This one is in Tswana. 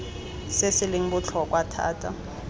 se se leng botlhokwa thata